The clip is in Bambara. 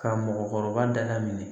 Ka mɔgɔkɔrɔba da la minɛ